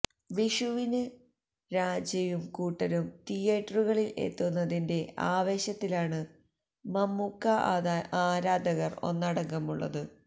വിഷുവിന് രാജയും കൂട്ടരും തിയ്യേറ്ററുകളില് എത്തുന്നതിന്റ െആവേശത്തിലാണ് മമ്മൂക്ക ആരാധകര് ഒന്നടങ്കമുളളത്